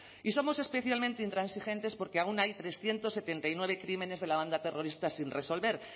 y somos especialmente intransigentes porque aún hay trescientos setenta y nueve crímenes de la banda terrorista sin resolver